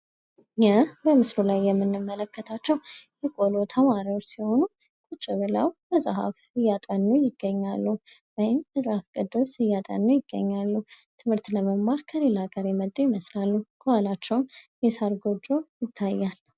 ይህ በምስሉ ላይ የምንመለከታቸው የቆሎ ተማሪዎች ሲሆኑ ቁጭ ብለው መፅሐፍ እያጠኑ ይገኛሉ ወይም መፅሐፍ ቅዱስ እያጠኑ ይገኛሉ። ትምህርት ለመማር ከሌላ ሀገር የመጡ ይመስላሉ ከኋላቸውም የሳር ጎጆ ይታያል።